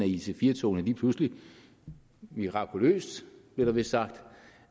at ic4 togene lige pludselig mirakuløst blev der vist sagt